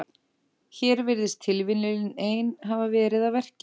Hér virðist tilviljunin ein hafa verið að verki.